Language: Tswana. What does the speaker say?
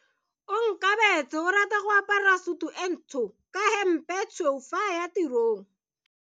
Onkabetse o rata go apara sutu e ntsho ka hempe e tshweu fa a ya tirong.